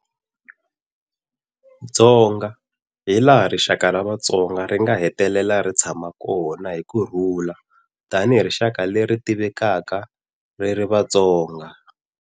Dzonga, hi laha rixaka ra Vatsonga ri nga hetelela ri tshama kona hi ku rhula tanihi rixaka leri ri tivekaka ri ri Vatsonga.